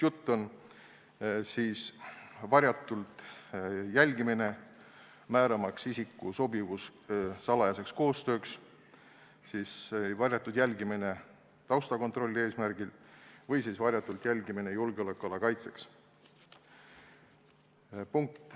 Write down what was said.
Jutt on varjatud jälgimisest, määramaks isiku sobivust salajaseks koostööks, see on varjatud jälgimine taustakontrolli eesmärgil või siis varjatud jälgimine julgeolekuala kaitseks.